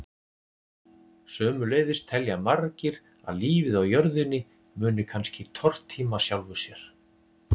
Sömuleiðis telja margir að lífið á jörðinni muni kannski tortíma sjálfu sér.